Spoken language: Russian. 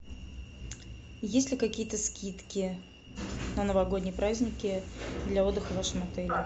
есть ли какие то скидки на новогодние праздники для отдыха в вашем отеле